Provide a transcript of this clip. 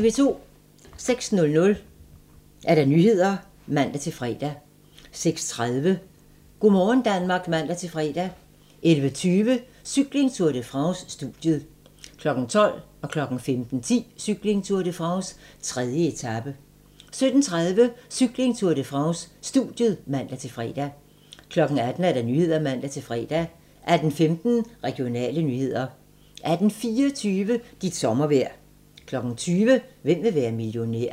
06:00: Nyhederne (man-fre) 06:30: Go' morgen Danmark (man-fre) 11:20: Cykling: Tour de France - studiet 12:00: Cykling: Tour de France - 3. etape 15:10: Cykling: Tour de France - 3. etape 17:30: Cykling: Tour de France - studiet (man-fre) 18:00: Nyhederne (man-fre) 18:15: Regionale nyheder 18:24: Dit sommervejr 20:00: Hvem vil være millionær?